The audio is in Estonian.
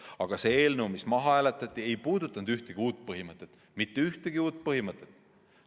Aga see eelnõu, mis maha hääletati, ei puudutanud ühtegi uut põhimõtet – mitte ühtegi uut põhimõtet!